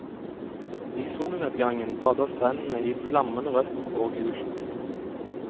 I solnedgangen bader strendene i flammende rødt og gult.